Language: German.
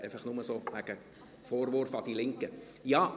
dies nur so zum Thema «Vorwurf an die Linken».